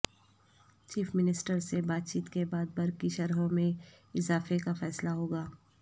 chief minister سے بات چیت کے بعد برقی شرحوں میں اضافہ کا فیصلہ ہوگا